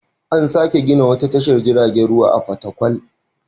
An sake gina wata tashar jiragen ruwa a Fatakwal.